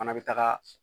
Fana bɛ taga